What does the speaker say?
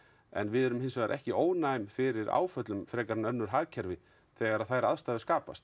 en við erum hins vegar ekki ónæm fyrir áföllum frekar en önnur hagkrefi þegar þær aðstæður skapast